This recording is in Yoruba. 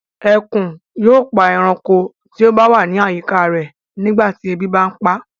Ẹkùn yóò pa ẹranko tí ó ba wa ni àyíká rẹ̀ nígbà tí ebi bà ń paa